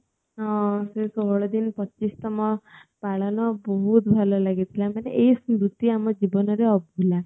ହଁ ସେ ଷୋହଳ ଦିନ ପଚିଶତମ ପାଳନ ବହୁତ ଭଲ ଲାଗି ଥିଲା ମନେ ଏଇ ସ୍ମୃତି ଆମ ଜୀବନ ରେ ଅଭୁଲା